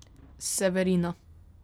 Severina.